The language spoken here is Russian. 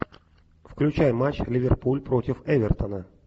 включай матч ливерпуль против эвертона